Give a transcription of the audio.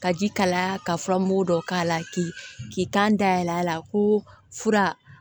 Ka ji kalaya ka furamugu dɔ k'a la k'i k'i kan dayɛlɛ a la ko fura